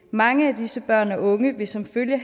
mange af disse børn og unge vil som følge